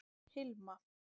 Hilma